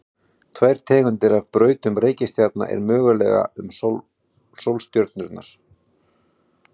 tvær tegundir af brautum reikistjarna eru mögulegar um sólstjörnurnar